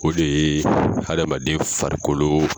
O de ye hadamaden farikolo